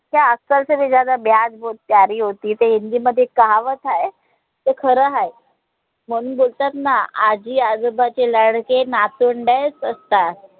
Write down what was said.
ते आजकालच्या ब्याज बोहोत प्यारी होती है ते हिंदी मध्ये एक काहावत हाय ते खार हाय म्हणून बोलतात ना आजी आजोबाचे लाडके नातवंडच असतात.